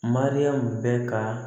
Mariyamu bɛ ka